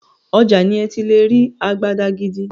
Ọjà ni ẹ ti lè rí àgàdàgídí.